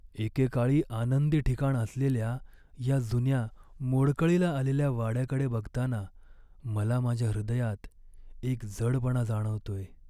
एकेकाळी आनंदी ठिकाण असलेल्या या जुन्या मोडकळीला आलेल्या वाड्याकडे बघताना मला माझ्या हृदयात एक जडपणा जाणवतोय.